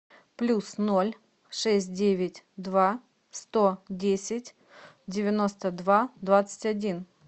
плюс ноль шесть девять два сто десять девяносто два двадцать один